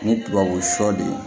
Ni tubabu sɔden